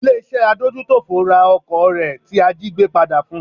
Ilé iṣẹ́ adójútòfò ra ọkọ̀ rẹ̀ tí a jígbé padà fun.